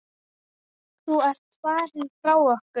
Þú ert farinn frá okkur.